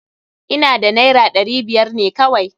Ina da naira ɗari biyar ne kawai.